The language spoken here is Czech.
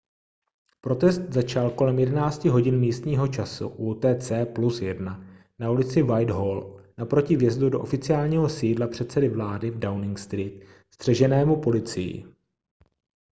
protest začal kolem 11:00 h místního času utc +1 na ulici whitehall naproti vjezdu do oficiálního sídla předsedy vlády v downing street střeženému policií